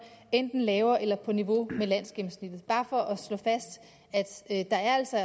enten lavere eller på niveau med landsgennemsnittet bare for at slå fast der er altså